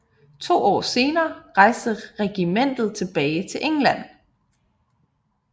To år senere rejste regimentet tilbage til England